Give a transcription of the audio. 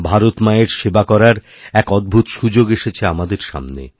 ভারত মায়ের সেবার করারএক অদ্ভূত সুযোগ এসেছে আমাদের সামনে